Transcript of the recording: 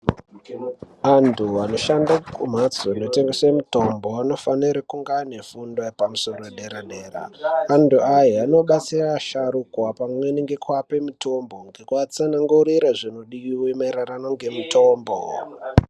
Antu anoshande kumhatso inotengese mitombo vanofano kunge vane fundo yepamusoro yepadera dera. Antu aya anobatsire vasharukwa ngekuape mutombo pamweni ngekuatsanangurira mayererano zvinodiwa nemutombo.